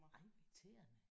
Nej hvor irriterende